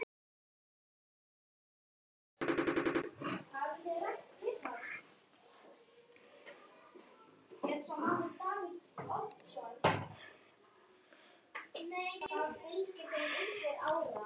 Þetta gerist ekki mikið betra.